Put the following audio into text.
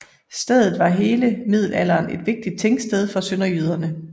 Stedet var gennem hele middelalderen et vigtigt tingsted for sønderjyderne